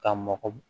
Ka mɔgɔ